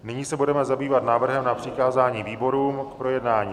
Nyní se budeme zabývat návrhem na přikázání výborům k projednání.